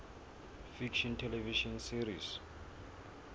fiction television series